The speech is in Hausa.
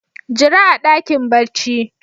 Jira a dakin barci.